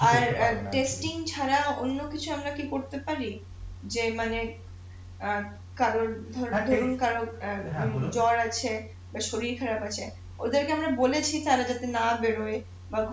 আর ছাড়া অন্যকিছু আমরা কি করতে পারি যে মানে অ্যাঁ কারোর জ্বর আছে বা শরির খারাপ আছে ওদের কে আমরা বলেছি তারা যাতে না বের হয় বা